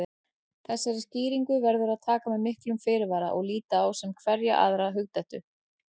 Þessari skýringu verður að taka með miklum fyrirvara og líta á sem hverja aðra hugdettu.